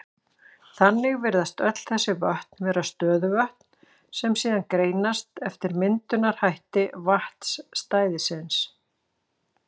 Þannig virðast öll þessi vötn vera stöðuvötn, sem síðan greinast eftir myndunarhætti vatnsstæðisins.